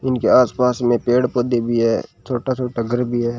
इनके आस पास में पेड़ पौधे भी है छोटा छोटा घर भी है।